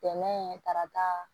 Dɛmɛ tarata